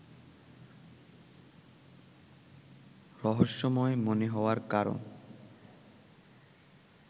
রহস্যময় মনে হওয়ার কারণ